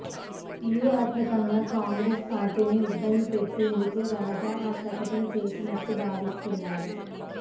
వ్యూహాత్మకంగా కాంగ్రెసు పార్టీని ఇబ్బంది పెట్టేందుకే రాజా ఆ ప్రకటన చేసినట్లు భావిస్తున్నారు